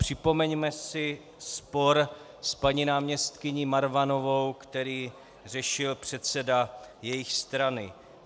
Připomeňme si spor s paní náměstkyní Marvanovou, který řešil předseda jejich strany.